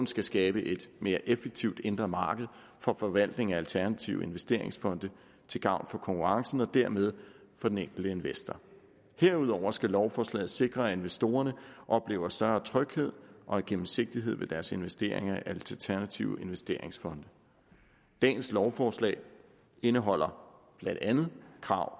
skal skabe et mere effektivt indre marked for forvaltningen af alternative investeringsfonde til gavn for konkurrencen og dermed for den enkelte investor herudover skal lovforslaget sikre at investorerne oplever større tryghed og gennemsigtighed med deres investeringer i alternative investeringsfonde dagens lovforslag indeholder blandt andet krav